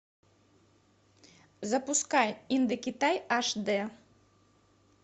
запускай индокитай аш дэ